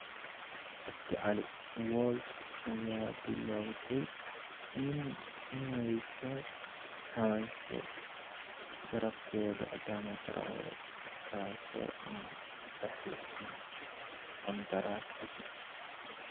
(Cabdi cali) Wolves ayaa bilowday inay ka hadasho garabkeeda Adama Traore, kaasoo aan saxiixin qandaraas cusub.